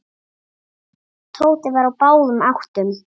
Tóti var á báðum áttum.